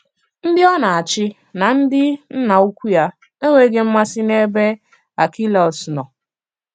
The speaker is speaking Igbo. Ndị ọ na-àchì na ndị nnà ùkwù ya enweghị mmàsị n'ebe Àrchèlàus nọ